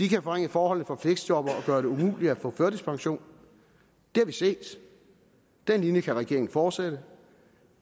kan forringe forholdet for fleksjobbere og gøre det umuligt at få førtidspension det har vi set den linje kan regeringen fortsætte